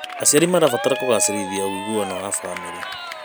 Aciari marabatara kũgacĩrithia ũiguano wa bamĩrĩ.